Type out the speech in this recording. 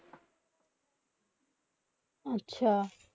আচ্ছা